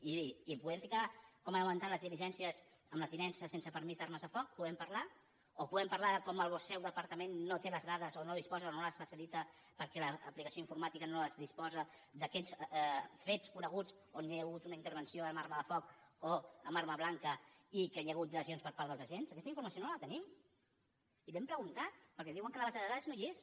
i podem ficar com han augmentat les diligències en la tinença sense permís d’armes de foc en podem parlar o podem parlar de com el seu departament no té les dades o no en disposa o no les facilita perquè l’aplicació informàtica no disposa d’aquests fets coneguts on hi ha hagut una intervenció amb arma de foc o amb arma blanca i que hi han hagut lesions per part dels agents aquesta informació no la tenim i l’hem preguntat perquè diuen que a la base de dades no hi és